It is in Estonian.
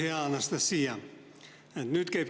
Hea Anastassia!